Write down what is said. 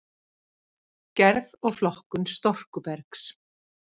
Gerð og flokkun storkubergs